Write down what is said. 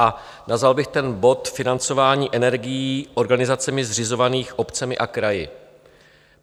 A nazval bych ten bod Financování energií organizacemi zřizovanými obcemi a kraji.